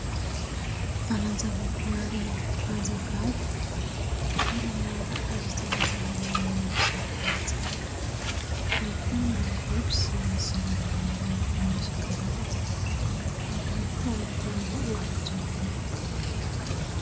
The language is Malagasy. Valanjava-boahary Anjavavy toerana azo hitsangatsanganan'ny mpizaha tany tsara. Ahitana biby sy zava-maniry maro isan-karazany alokalofanan'ity lanitra manga.